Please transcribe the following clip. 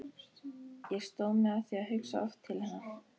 Ég stóð mig að því að hugsa oft til hennar.